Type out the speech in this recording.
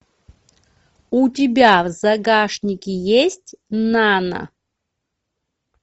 у тебя в загашнике есть нано